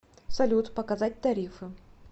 салют показать тарифы